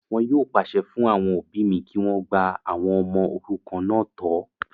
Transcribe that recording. Wọn yóò pàṣẹ fún àwọn òbí mi kí wọ́n gba àwọn ọmọ òrukàn náà tọ́